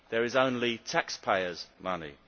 There is only taxpayers' money.